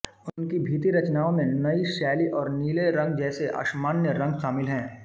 उनकी भित्ति रचनाओं में नई शैली और नीले रंग जैसे असामान्य रंग शामिल हैं